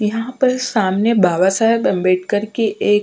यहा पर सामने बाबा साहेब अंबेटकर की एक --